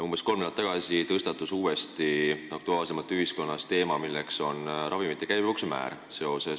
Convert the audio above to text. Umbes kolm nädalat tagasi tõstatus ühiskonnas uuesti aktuaalsemalt ravimite käibemaksu määra teema.